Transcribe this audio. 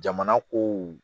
Jamana kow